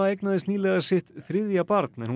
eignaðist nýlega sitt þriðja barn en